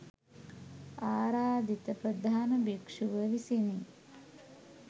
ආරාධිත ප්‍රධාන භික්‍ෂුව විසිනි.